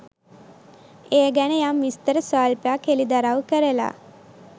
ඒ ගැන යම් විස්තර ස්වල්පයක් හෙළිදරව් කරලා